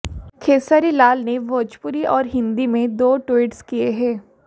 खेसारी लाल ने भोजपुरी और हिंदी में दो ट्वीट्स किए हैँ